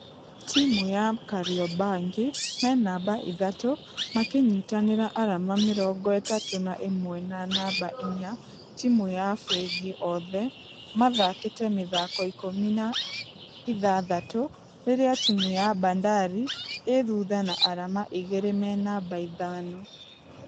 Timũ ya kariobangi me namba ithatũ makĩnyitanĩra arama mĩrongo ĩtatũ na ĩmwe na namba inya timũ ya fengi othe mathakĩte mĩthako ikũmi na ithathatũ rĩrĩa timũ ya bandari ĩthutha na arama igĩrĩ me namba ithano.